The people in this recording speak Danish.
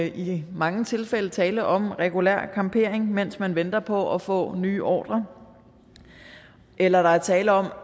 i mange tilfælde tale om regulær campering mens man venter på at få nye ordrer eller der er tale om